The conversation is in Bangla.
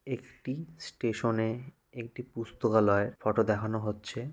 একটি স্টেশনে একটি পুস্তকালয় ফটো দেখানো হচ্ছে।